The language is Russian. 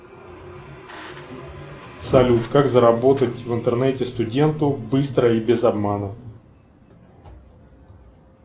салют как заработать в интернете студенту быстро и без обмана